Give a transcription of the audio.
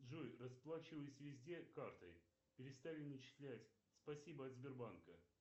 джой расплачиваюсь везде картой перестали начислять спасибо от сбербанка